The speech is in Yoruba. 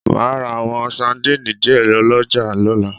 Màá ra àwọn sandínì díẹ̀ ọlọ́jà lọ́la